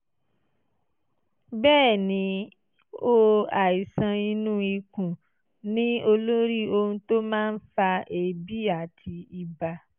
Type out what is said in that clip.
bẹ́ẹ̀ ni o àìsàn inú ikùn ni olórí ohun tó máa ń fa èébì àti ibà